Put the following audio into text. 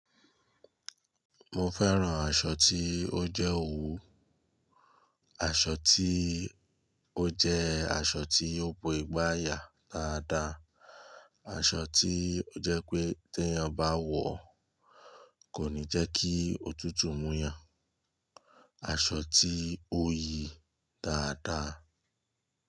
Mo fẹ́ràn aṣọ tí ó jẹ́ òwú, aṣọ tí ó jẹ́ aṣọ tí ó bo ìgbàyà dáadá, aṣọ tíí ó jẹ́ pé tí èyàn bá wọ̀ kò ní jẹ́ kí òtútù mú èyàn, aṣọ tí ó yìí dáadá.